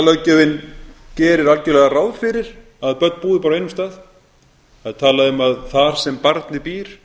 efnum barnalöggjöfinni gerir algjörlega ráð fyrir að börn búi bara á einum stað það er talað um að þar sem barnið býr